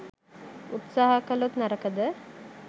උත්සහ කලොත් නරකද?